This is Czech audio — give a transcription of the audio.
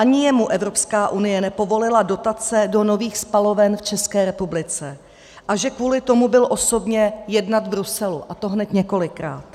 Ani jemu Evropská komise nepovolila dotace do nových spaloven v České republice, a že kvůli tomu byl osobně jednat v Bruselu, a to hned několikrát.